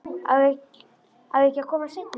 Á ég ekki að koma seinna?